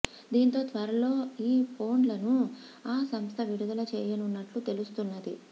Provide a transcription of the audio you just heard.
దీంతో త్వరలో ఈ ఫోన్లను ఆ సంస్థ విడుదల చేయనున్నట్లు తెలుస్తున్నది